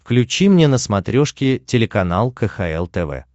включи мне на смотрешке телеканал кхл тв